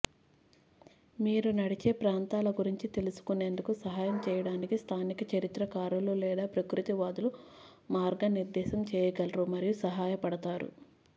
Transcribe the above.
మీరు నడిచే ప్రాంతాల గురించి తెలుసుకునేందుకు సహాయం చేయడానికి స్థానిక చరిత్రకారులు లేదా ప్రకృతివాదులు మార్గనిర్దేశం చేయగలరు మరియు సహాయపడతారు